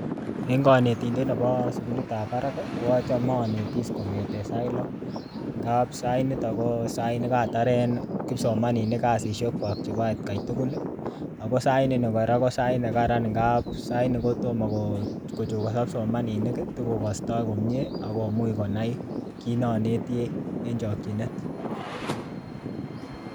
En konetindet nebo sukulit ab barak ko achome onetis kong'eten sait loo amun katar kipsomaninik kasisiek kwak chebo atkaitugul akotomo kochokoso kipsomaninik akokas komie kiit noneti.